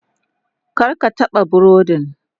Kar ka taɓa burodin.